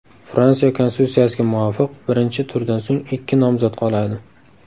Fransiya konstitutsiyasiga muvofiq, birinchi turdan so‘ng ikki nomzod qoladi.